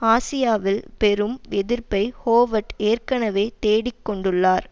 ஆசியாவில் பெரும் எதிர்ப்பை ஹோவர்ட் ஏற்கனவே தேடிக் கொண்டுள்ளார்